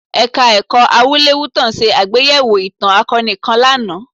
Ẹ̀ka-ẹ̀kọ́ Awúlẹ̀wútàn ṣe àgbéyẹ̀wò ìtàn akọni kan lánàá